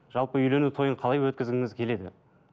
жалпы үйлену тойын қалай өткізгіңіз келеді